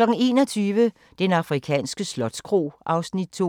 21:00: Den afrikanske slotskro (Afs. 2)